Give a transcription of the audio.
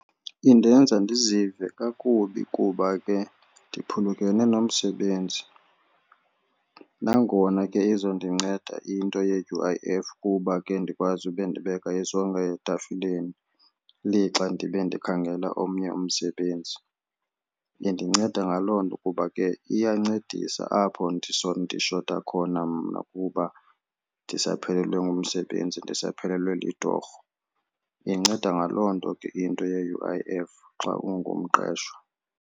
Indenza ndizive kakubi kuba ke ndiphulukene nomsebenzi nangona ke izondinceda into ye-U_I_F kuba ke ndikwazi ube ndibeka isonka etafileni lixa ndibe ndikhangela omnye umsebenzi. Indinceda ngaloo nto kuba ke iyancedisa apho ndishota khona mna kuba ndisaphelelwe ngumsebenzi ndisaphelelwe litorho. Inceda ngaloo nto ke into ye-U_I_F xa ungumqeshwa.